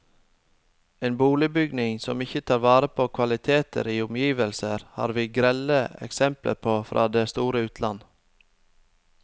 En boligbygging som ikke tar vare på kvaliteter i omgivelser, har vi grelle eksempler på fra det store utland.